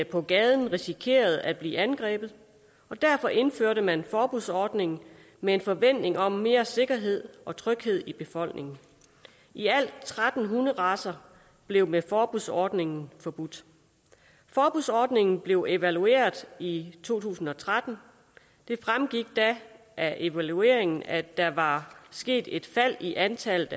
på gaden risikerede at blive angrebet og derfor indførte man forbudsordningen med en forventning om mere sikkerhed og tryghed i befolkningen i alt tretten hunderacer blev med forbudsordningen forbudt forbudsordningen blev evalueret i i to tusind og tretten det fremgik da af evalueringen at der var sket et fald i antallet